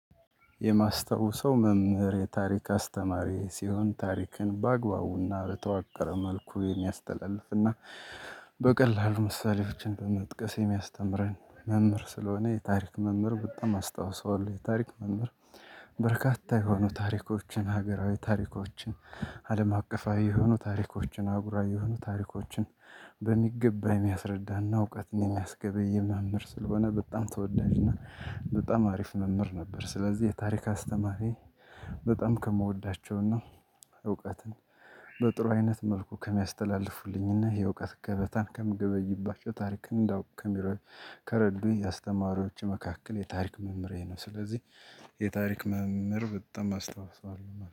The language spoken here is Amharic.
የማስታውስ መምህር የታሪክ አስተማሪ ሲሆን ታሪክን በአግባቡና በተዋቀረ መልኩ የሚያስተላልፍ እና በቀላሉ ምሳሌዎችን በመጥቀስ የሚያስተምረን መምህር ስለሆነ የታሪክ መምህር በጣም አስታውሰዋለሁ የታሪክ መምህር። በርካታ የሆኑ ታሪኮችን ሀገራዊ ታሪኮችን አለም አቀፋዊ የሆኑ ታሪኮችን አጉራ የሆኑ ታሪኮችን በሚገባ የሚያስረዳና እውቀትን የሚያስገብይ መምህር ስለሆነ በጣም ተወዳጅና በጣም አሪፍ መምህር ነበር። ስለዚህ የታሪክ አስተማሪ በጣም ከምወዳቸውና እውቀትን በጥሩ አይነት መልኩ ከሚያስተላልፉልኝና የእውቀት ከበታን ከምገበይባቸው ታሪክ እንዳውቅ ከ ሚረዱ ከረዱኝ የአስተማሪዎች መካከል የታሪክ መምህሬ ነው። ስለዚህ የታሪክ መምህር በጣም አስታውሰዋለሁ